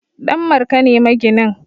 Danmarka ne maginin